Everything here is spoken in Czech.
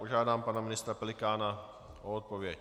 Požádám pana ministra Pelikána o odpověď.